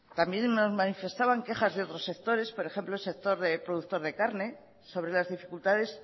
también nos manifestaban quejas de otros sectores por ejemplo el sector productor de carne sobre las dificultades